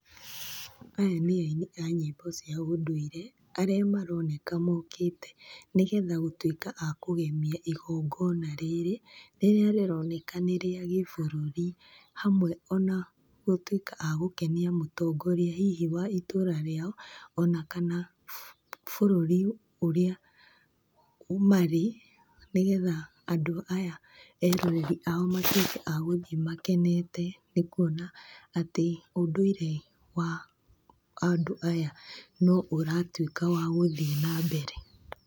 Aya nĩ aini a nyĩmbo cia ũndũire, arĩa maroneka mokĩte nĩgetha gũtuĩka a kũgemia igongona rĩrĩ, rĩrĩa rĩroneka nĩrĩa gĩburũri, hamwe ona gũtuĩka a gũkenia mũtongoria hihi wa itũra rĩao, kana wa bũrũri ũrĩa marĩ. Nĩgetha andũ aya eroreri ao matuĩke a gũthiĩ makenete, nĩ kuona atĩ, ũndũire wa andũ aya no ũratuĩka wa gũthiĩ na mbere.